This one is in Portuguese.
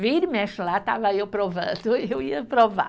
Vira e mexe lá, estava eu provando, eu ia provar.